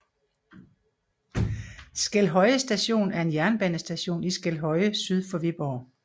Skelhøje Station var en jernbanestation i Skelhøje syd for Viborg